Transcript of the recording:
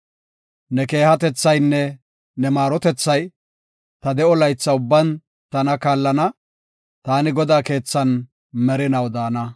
Ne keehatethaynne ne maarotethay ta de7o laytha ubban tana kaallana; taani Godaa keethan merinaw daana.